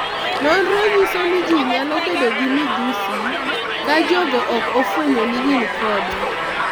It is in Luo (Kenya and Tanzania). Nonro nyiso ni ji nyalo bedo gi midhusi ka jogo ok ofwenyo ni gin kode.